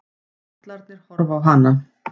Pollarnir horfa á hana.